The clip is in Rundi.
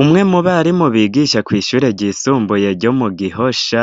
Umwe mu barimu bigisha kw'ishure ryisumbuye ryo mu Gihosha